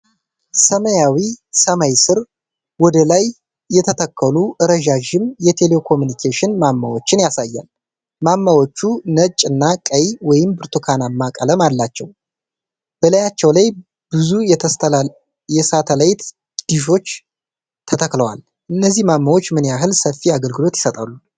ሰማያዊ ሰማይ ስር ወደ ላይ የተተከሉ ረዣዥም የቴሌኮምዩኒኬሽን ማማዎችን ያሳያል። ማማዎቹ ነጭ እና ቀይ/ብርቱካናማ ቀለም አላቸው። በላያቸው ላይ ብዙ የሳተላይት ዲሾች ተተክለዋል። እነዚህ ማማዎች ምን ያህል ሰፊ አገልግሎት ይሰጣሉ?